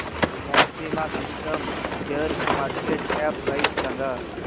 maxima systems शेअरची market cap price सांगा